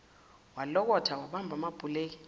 walokotha wabamba amabhuleki